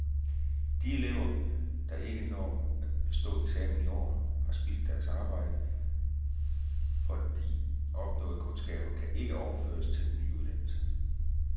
De elever, der ikke når at bestå eksamen i år, har spildt deres arbejde, for de opnåede kundskaber kan ikke overføres til den nye uddannelse.